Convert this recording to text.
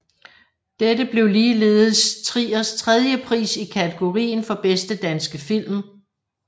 Dette blev ligeledes Triers tredje pris i kategorien for bedste danske film